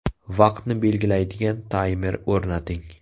Vaqtni belgilaydigan taymer o‘rnating.